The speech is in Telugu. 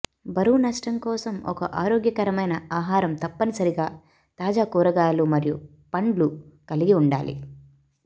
బరువు నష్టం కోసం ఒక ఆరోగ్యకరమైన ఆహారం తప్పనిసరిగా తాజా కూరగాయలు మరియు పండ్లు కలిగి ఉండాలి